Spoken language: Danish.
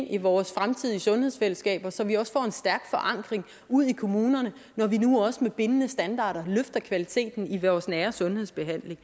i vores fremtidige sundhedsfællesskaber så vi også får en stærk forankring ude i kommunerne når vi nu også med bindende standarder løfter kvaliteten i vores nære sundhedsbehandling